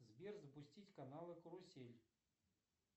сбер запустить каналы карусель